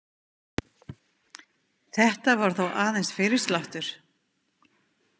Þetta var þó aðeins fyrirsláttur.